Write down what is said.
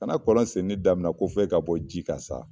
Kana kɔlɔn sen ni daminɛ ko fɛ ka bɔ ji ka sa